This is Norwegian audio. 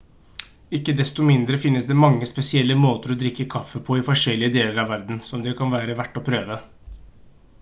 ikke desto mindre finnes det mange spesielle måter å drikke kaffe på i forskjellige deler av verden som det kan være verdt å prøve